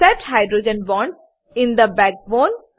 set hydrogen bonds in the backbone